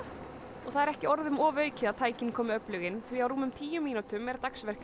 og það er ekki orðum ofaukið að tækin komi öflug inn því á rúmum tíu mínútum er